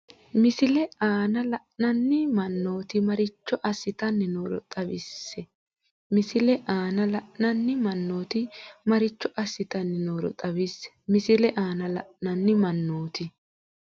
Misile aana la’inanni mannoti maricho assitanni nooro xawisse Misile aana la’inanni mannoti maricho assitanni nooro xawisse Misile aana la’inanni mannoti.